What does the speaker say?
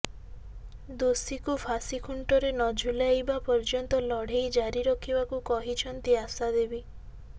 ଦୋଷୀଙ୍କୁ ଫାଶୀ ଖୁଣ୍ଟରେ ନଝୁଲାଇବା ପର୍ଯ୍ୟନ୍ତ ଲଢ଼େଇ ଜାରି ରଖିବାକୁ କହିଛନ୍ତି ଆଶା ଦେବୀ